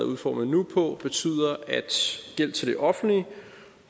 udformet på betyder at gæld til det offentlige